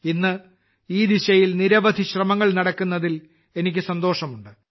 ഇന്ന് ഈ ദിശയിൽ നിരവധി ശ്രമങ്ങൾ നടക്കുന്നതിൽ എനിക്ക് സന്തോഷമുണ്ട്